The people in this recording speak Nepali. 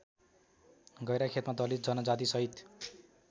गैराखेतमा दलित जनजातिसहित